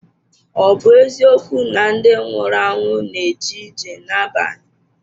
Ọ̀ bụ eziokwu na ndị nwụrụ anwụ na-eje ije n’abalị?